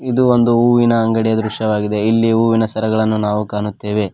ಇದು ಒಂದು ಹೂವಿನ ಅಂಗಡಿಯ ದೃಶ್ಯವಾಗಿದೆ ಇಲ್ಲಿ ಹೂವಿನ ಸರಗಳನ್ನು ನಾವು ಕಾಣುತ್ತೇವೆ.